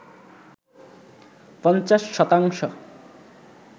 ৫০ শতাংশ